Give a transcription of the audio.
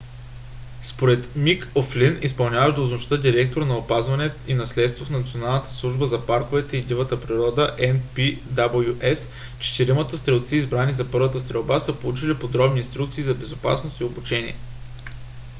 според мик о'флин изпълняващ длъжността директор на опазване и наследство в националната служба за парковете и дивата природа npws четиримата стрелци избрани за първата стрелба са получили подробни инструкции за безопасност и обучение